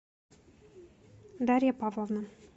дарья павловна